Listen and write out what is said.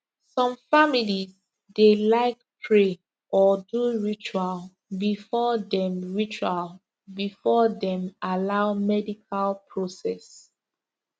some families dey like pray or do ritual before dem ritual before dem allow medical process